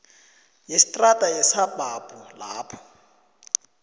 yestrada yesabhabhu lapho